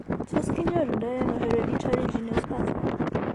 Tos kinyoru ndo ano hereditary geniospasm ?